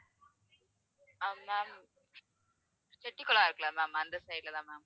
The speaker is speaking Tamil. செட்டிகுளம் இருக்குல்ல ma'am அந்த side ல தான் ma'am